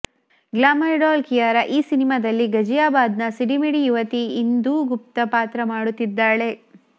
glamour doll Kiara ಈ ಸಿನಿಮಾದಲ್ಲಿ ಗಜಿಯಾಬಾದ್ನ ಸಿಡಿಮಿಡಿ ಯುವತಿ ಇಂದೂ ಗುಪ್ತ ಪಾತ್ರ ಮಾಡುತ್ತಿದ್ದಾಳೆ